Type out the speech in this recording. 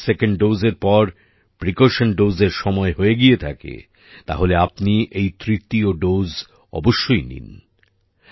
যদি আপনার সেকেন্ড Doseএর পর প্রিকাউশন doseএর সময় হয়ে গিয়ে থাকে তাহলে আপনি এই তৃতীয় Doseটি অবশ্যই নিন